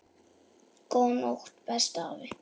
Góða nótt, besti afi.